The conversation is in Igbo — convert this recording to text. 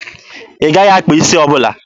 Ị gaghị akpa isi ọbụla!